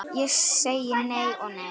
Ég segi nei og nei.